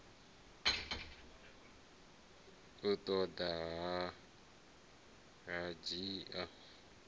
u ḓo ḓa a ndzhia